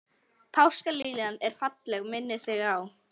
Páskaliljan er falleg og minnir á þig.